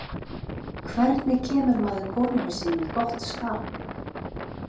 hvernig kemur maður konunni sinni í gott skap